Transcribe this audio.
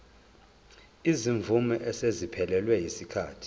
izimvume eseziphelelwe yisikhathi